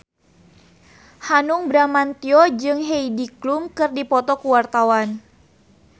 Hanung Bramantyo jeung Heidi Klum keur dipoto ku wartawan